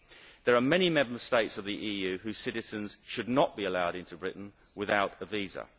There are many Member States in the EU whose citizens should not be allowed into Britain without a visa.